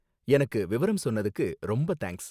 எனக்கு விவரம் சொன்னதுக்கு ரொம்ப தேங்க்ஸ்.